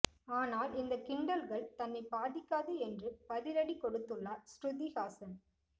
ஆனால் இந்த கிண்டல்கள் தன்னை பாதிக்காது என்று பதிலடி கொடுத்துள்ளார் ஸ்ருதிஹாசன்